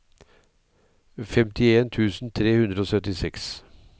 femtien tusen tre hundre og syttiseks